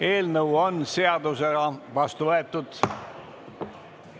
Eelnõu on seadusena vastu võetud.